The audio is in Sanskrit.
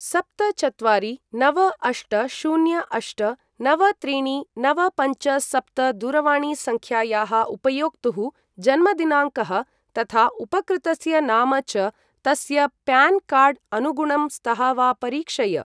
सप्त चत्वारि नव अष्ट शून्य अष्ट नव त्रीणि नव पञ्च सप्त दूरवाणीसङ्ख्यायाः उपयोक्तुः जन्मदिनाङ्कः, तथा उपकृतस्य नाम च तस्य प्यान् कार्ड् अनुगुणं स्तः वा परीक्षय।